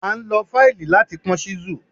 À n lọ faílì lati pọn chísù.